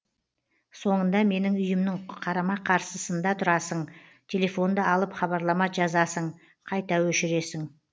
соңында менің үйімнің қарама қарсысыннда тұрасың телефонды алып хабарлама жазасың қайта өшіресің